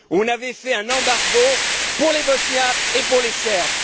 On avait fait un embargo pour les Bosniaques et pour les Serbes.